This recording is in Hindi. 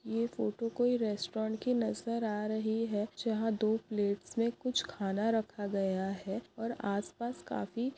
ये फोटो कोई रेस्टोरेन्ट की नजर आ रही है जहाँ दो प्लेट्स में कुछ खाना रखा गया है और आस-पास काफी --